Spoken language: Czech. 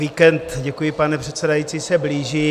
Víkend - děkuji, paní předsedající - se blíží.